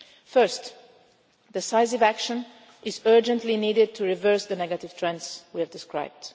Nations. First, decisive action is urgently needed to reverse the negative trends we have